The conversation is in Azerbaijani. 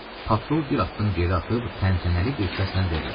Patrul bir addım geri atıb təntənəli bir səslə dedi: